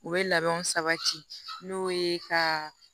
U bɛ labɛnw sabati n'o ye ka